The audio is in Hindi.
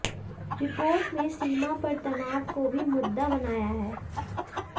रिपोर्ट में सीमा पर तनाव को भी मुद्दा बनाया है